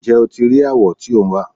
Ǹjẹ́ o ti rí awọ tí ò ń wá?